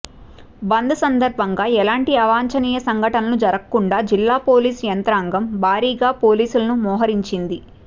బంద్ సందర్బంగా ఎలాంటి అవాంఛనీయ సంఘటనలు జరగకుండా జిల్లాపోలీసు యంత్రాంగం భారీగా పోలీసులను మోహరించారు